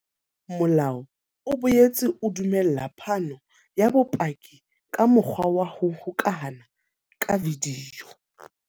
Molao o boetse o dumella phano ya bopaki ka mokgwa wa ho hokahana ka video.